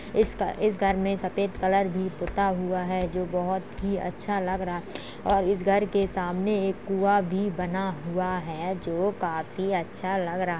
इसका इस घर में सफेद कलर भी पुता हुआ है जो बहुत ही अच्छा लग रहा है और इस घर के सामने एक कुआ भी बना हुआ है जो काफ़ी अच्छा लग रहा --